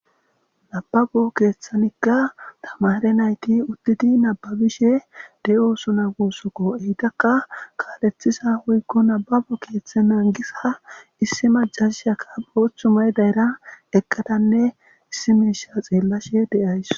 nababo keeththanikka tamare nayti uddidi nababishe de7oosuna gussokko eytakka kaalethisa hoykko nababo keeththe mengisa ha issi majashaka ooththumay dayra eqqadanne issi meisha xeellashe de7ays